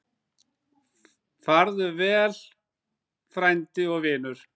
Farðu vel, frændi og vinur.